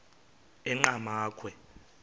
enqgamakhwe